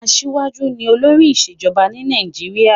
Aṣíwájú ni olórí ìṣèjọba ní Nàìjíríà.